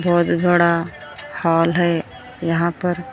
और थोड़ा हॉल है यहाँ पर किरा।